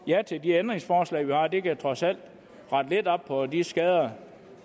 ja til de ændringsforslag vi har det kan trods alt rette lidt op på de skader